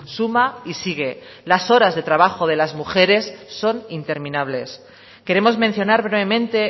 suma y sigue las horas de trabajo de las mujeres son interminables queremos mencionar brevemente